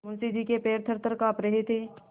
मुंशी जी के पैर थरथर कॉँप रहे थे